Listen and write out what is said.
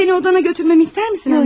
Səni odana götürməmi istəmisənmi anne?